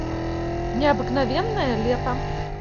необыкновенное лето